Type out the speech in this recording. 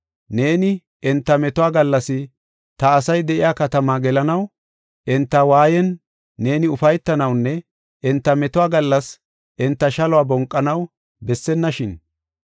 Neeni enta metuwa gallas ta asay de7iya katamaa gelanaw, enta waayan neeni ufaytanawunne enta metuwa gallas enta shaluwa bonqanaw bessennashin!